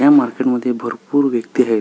या मार्केट मध्ये भरपूर व्यक्ती आहेत.